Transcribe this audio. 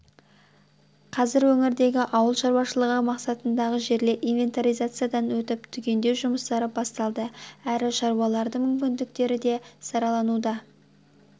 қазір өңірдегі ауыл шаруашылығы мақсатындағы жерлер инвентаризациядан өтіп түгендеу жұмыстары басталды әрі шаруалардың мүмкіндіктері де саралануда